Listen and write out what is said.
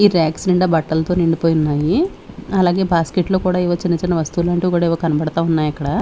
ఈ రాక్స్ నిండా బట్టలతో నిండిపోయి ఉన్నాయి అలాగే బాస్కెట్ లో కూడా ఏవో చిన్న చిన్న వస్తువులు అంటూ కూడా ఏవో కనబడతా ఉన్నాయి అక్కడ.